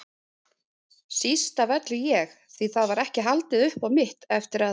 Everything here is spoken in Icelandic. Síst af öllu ég, því það var ekki haldið upp á mitt eftir að